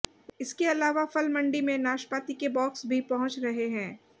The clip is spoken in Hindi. इसके अलावा फल मंडी में नाशपाती के बॉक्स भी पहुंच रहे हैं